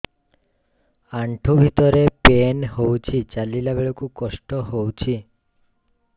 ଆଣ୍ଠୁ ଭିତରେ ପେନ୍ ହଉଚି ଚାଲିଲା ବେଳକୁ କଷ୍ଟ ହଉଚି